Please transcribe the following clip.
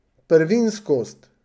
Prvinskost.